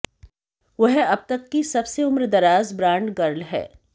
वह अब तक की सबसे उम्रदराज बांड गर्ल हैं